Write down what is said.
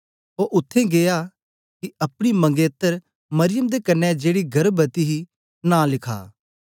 ओ उत्थें गीया कि अपनी मंगेतर मरियम दे कन्ने जेड़ी गर्भवती ही नां लखा